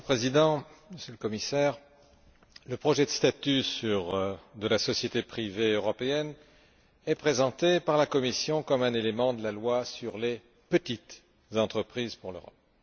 Monsieur le Président, Monsieur le Commissaire, le projet de statut de la société privée européenne est présenté par la Commission comme un élément de la loi sur les petites entreprises pour l'Europe.